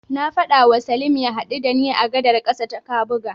Na faɗawa Salim ya haɗu da ni a gadar ƙasa ta Kabuga.